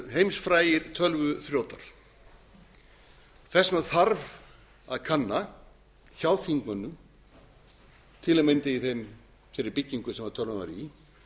heimsfrægir tölvuþrjótar og þess vegna þarf að kanna hjá þingmönnum til að mynda í þeirri byggingu sem tölvan var í